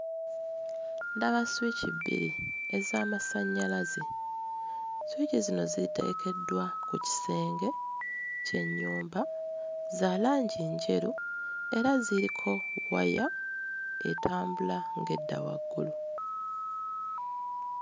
Ndaba sswiki bbiri ez'amasannyalaze sswiki zino ziteekeddwa ku kisenge ky'ennyumba za langi njeru era ziriko waya etambula ng'edda waggulu.